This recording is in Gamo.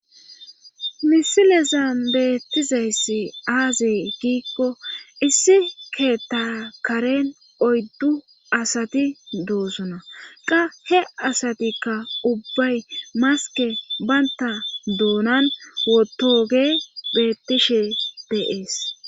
Misilezan beettizayssi aazi giikko issi keetakaren oyddu asati doosuna qa he asatikka ubbay maske baynta doonan wotoge beettishe deees